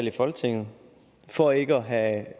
i folketinget for ikke at have